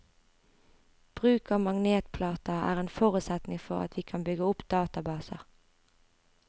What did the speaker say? Bruk av magnetplater er en forutsetning for at vi kan bygge opp databaser.